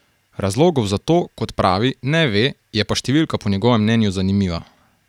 Razlogov za to, kot pravi, ne ve, je pa številka po njegovem mnenju zanimiva.